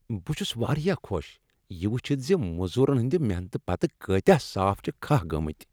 بہٕ چھس واریاہ خۄش یہ وٕچھتھ ز مزورن ہٕنٛد محنتہٕ پتہٕ کٲتیٛاہ صاف چھ کھہہ گٔمٕتۍ۔